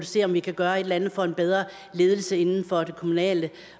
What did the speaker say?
se om vi kan gøre et eller andet få en bedre ledelse inden for det kommunale